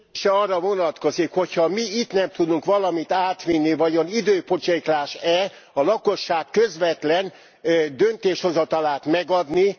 A kérdése arra vonatkozik, hogy ha mi itt nem tudunk valamit átvinni, vajon időpocséklás e a lakosság közvetlen döntéshozatalát megadni?